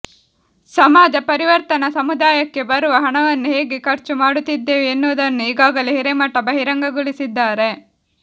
ಸಮಾಜ ಪರಿವರ್ತನ ಸಮುದಾಯಕ್ಕೆ ಬರುವ ಹಣವನ್ನು ಹೇಗೆ ಖರ್ಚು ಮಾಡುತ್ತಿದ್ದೇವೆ ಎನ್ನುವುದನ್ನು ಈಗಾಗಲೇ ಹಿರೇಮಠ ಬಹಿರಂಗಗೊಳಿಸಿದ್ದಾರೆ